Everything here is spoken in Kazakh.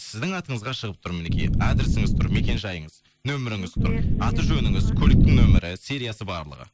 сіздің атыңызға шығып тұр мінекей адресіңіз тұр мекен жайыңыз нөмеріңіз тұр аты жөніңіз көліктің нөмірі сериясы барлығы